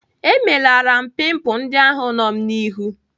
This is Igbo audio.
Emelara m pimpul ndị ahụ nọ m n'ihu.